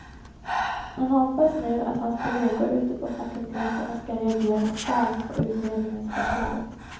Han hoppas nu att hans kolleger ute på fakulteterna ska reagera starkt på utredningens förslag.